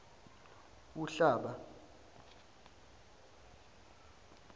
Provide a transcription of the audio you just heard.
uhlaba